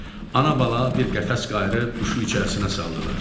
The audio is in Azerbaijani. Ana-bala bir qəfəs qayırib quşu içərisinə saldılar.